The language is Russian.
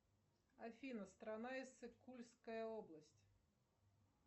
афина страна иссык кульская область